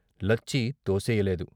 Lachchi తోసెయ్యలేదు.